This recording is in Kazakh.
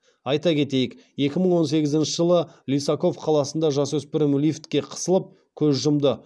айта кетейік екі мың он сегізінші жылы лисаков қаласында жасөспірім лифтке қысылып көз жұмды